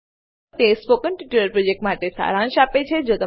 તે spoken tutorial પ્રોજેક્ટનો સારાંશ આપે છે